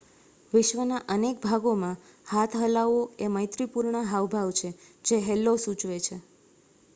"વિશ્વનાં અનેક ભાગોમાં હાથ હલાવવો એ મૈત્રીપૂર્ણ હાવભાવ છે જે "હેલ્લો." સૂચવે છે.